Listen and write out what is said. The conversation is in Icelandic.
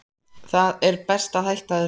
Það er best að hætta þessu.